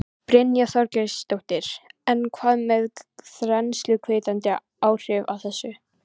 Brynja Þorgeirsdóttir: En hvað með þensluhvetjandi áhrifin af þessu?